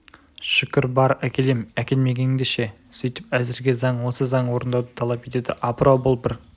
шүкір бар әкелем әкелмегеңде ше сөйтіңіз әзірге заң осы заң орындауды талап етеді апырау бұл бір